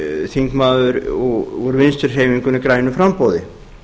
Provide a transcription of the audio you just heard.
þingmaður úr vinstri hreyfingunni grænu framboði